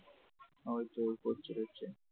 ওই জোর করছে হচ্ছে ।